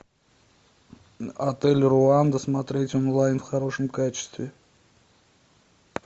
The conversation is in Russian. отель руанда смотреть онлайн в хорошем качестве